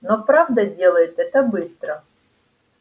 но правда делает это быстро